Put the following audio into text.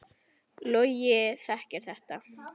Logi þekkir þetta.